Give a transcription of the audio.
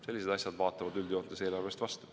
Sellised asjad vaatavad üldjoontes eelarvest vastu.